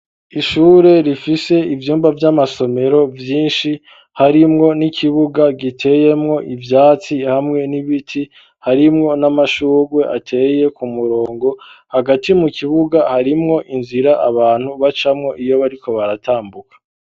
Ishure rifise ivyumba vy'amasomero vyinshi harimwo n'ikibuga giteyemwo ivyatsi hamwe n'ibiti ,harimwo n'amashurwe ateye ku murongo, hagati mu kibuga harimwo inzira abantu bacamwo iyo bariko baratambuka.